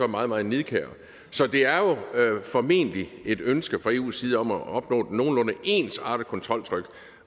meget meget nidkære så det er jo formentlig et ønske fra eus side om at opnå et nogenlunde ensartet kontroltryk